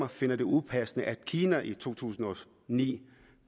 finder det upassende at kina i to tusind og ni